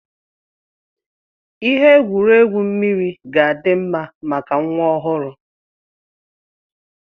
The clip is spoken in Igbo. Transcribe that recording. Ihe egwuregwu mmiri ga-adị mma maka nwa ọhụrụ